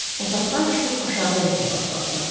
Otaqdan çıxıb aşağı enməyə başladılar.